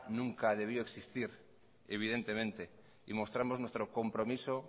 nunca debió de existir mostramos nuestro compromiso